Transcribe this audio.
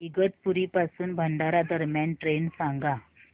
इगतपुरी पासून भंडारा दरम्यान ट्रेन सांगा